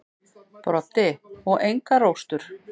Broddi: Og engar róstur.